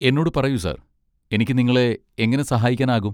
എന്നോട് പറയൂ സർ, എനിക്ക് നിങ്ങളെ എങ്ങനെ സഹായിക്കാനാകും?